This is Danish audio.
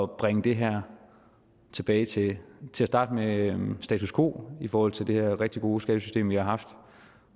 bringe det her tilbage til til at starte med status quo i forhold til det her rigtig gode skattesystem vi har haft